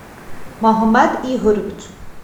магомед игоревич